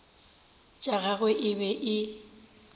tša gagwe e be e